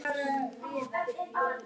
En hvað fann hún?